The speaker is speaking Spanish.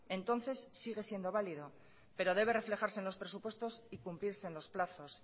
entonces sigue siendo válido pero debe reflejarse en los presupuestos y cumplirse en los plazos